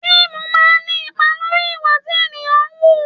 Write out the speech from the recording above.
Fíìmù máa ń ní ipa lórí ìwà tí ènìyàn ń wù